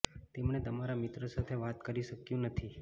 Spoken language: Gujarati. તેમણે તમારા મિત્રો સાથે વાત કરી શક્યું નથી